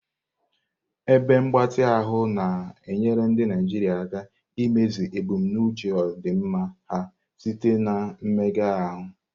Ebe mgbatị ahụ na-enyere ndị Naijiria aka imezu ebumnuche ọdịmma ha site na mmega ahụ.